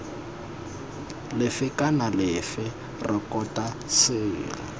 lefe kana lefe rekota selo